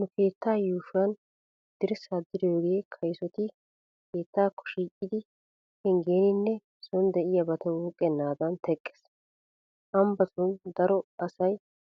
Nu keettaa yuushuwan dirssaa diriyogee kaysoti keettaakko shiiqidi penggeninne sooni de'iyaabata wuuqqennaadan teqqees. Ambbatun daro asay